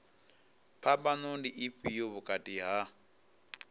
phambano ndi ifhio vhukati ha